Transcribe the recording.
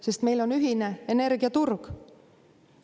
Sest meil on ühine energiaturg.